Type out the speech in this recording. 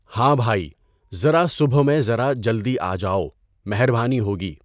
ہاں بھائی، ذرا صبح میں ذرا جلدی آ جاؤ، مہربانی ہوگی۔